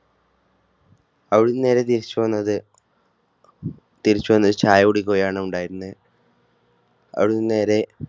അവിടുന്ന് നേരെ തിരിച്ചു വന്നത് തിരിച്ചുവന്ന്ത് ചായ കുടിക്കുകയാണ് ഉണ്ടായിരുന്നത്. അവിടുന്ന് നേരെ